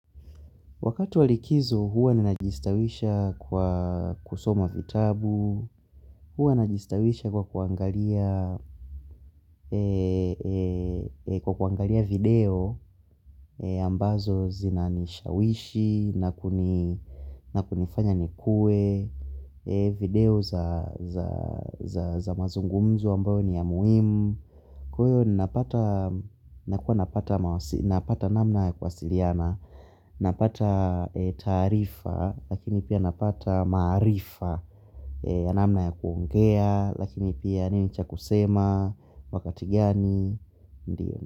Wakati wa likizo huwa ninajistawisha kwa kusoma vitabu, huwa najistawisha kwa kuangalia kwa kuangalia video ambazo zinanishawishi na kunifanya nikue, video za mazungumzo ambayo ni ya muhimu. Kwa hiyo ni napata namna ya kuwasiliana. Napata taarifa lakini pia napata maarifa. Namna ya kuongea lakini pia nini cha kusema. Wakati gani ndiyo.